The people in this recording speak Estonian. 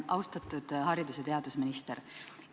Austatud haridus- ja teadusminister!